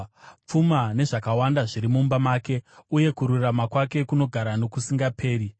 Pfuma nezvakawanda zviri mumba make, uye kururama kwake kunogara nokusingaperi.